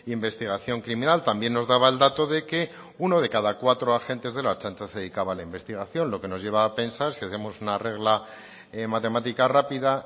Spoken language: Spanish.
investigación criminal también nos daba el dato de que uno de cada cuatro agentes de la ertzaintza se dedicaba a la investigación lo que nos lleva a pensar si hacemos una regla matemática rápida